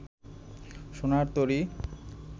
সোনার তরী